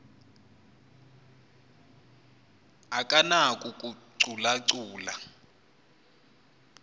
akanako ukucalu calula